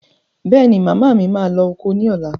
Bẹ́è ni, màmá mi máa lọ oko ní ọ̀la.